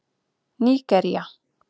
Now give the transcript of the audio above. Nígería